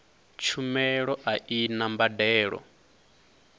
tshumelo a i na mbadelo